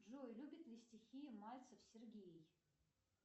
джой любит ли стихи мальцев сергей